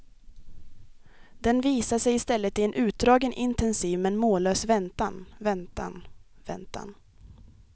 Den visar sig i stället i en utdragen, intensiv men mållös väntan, väntan, väntan.